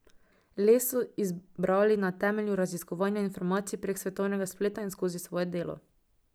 Les so izbrali na temelju raziskovanja informacij prek svetovnega spleta in skozi svoje delo.